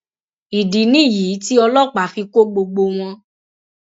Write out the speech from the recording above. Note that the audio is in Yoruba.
ìdí nìyí tí ọlọpàá fi kọ gbogbo wọn